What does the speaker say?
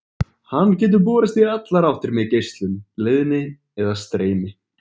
Hann getur borist í allar áttir með geislun, leiðni eða streymi.